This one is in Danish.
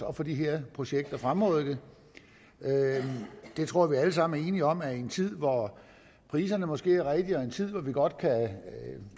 at få de her projekter fremrykket jeg tror at vi alle sammen er enige om at i en tid hvor priserne måske er rigtige og i en tid hvor vi godt kan